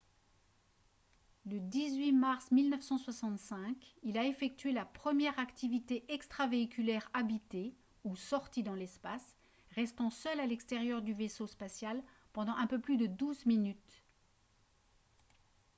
le 18 mars 1965 il a effectué la première activité extravéhiculaire habitée ou « sortie dans l'espace » restant seul à l'extérieur du vaisseau spatial pendant un peu plus de douze minutes